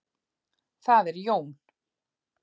Það er Jón.